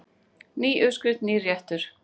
Ný uppskrift, nýr réttur.